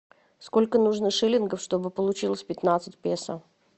сколько нужно шиллингов чтобы получилось пятнадцать песо